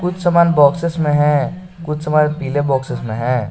कुछ सामान बॉक्सस में है कुछ समय पीले बॉक्सस में है।